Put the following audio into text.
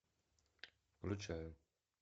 включаю